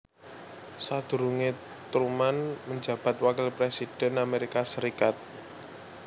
Sadurunge Truman menjabat wakil presiden Amerika Serikat